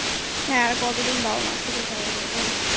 হ্যাঁ আর কত দিন বাবা মা এর থেকে চাওয়া যায় বলI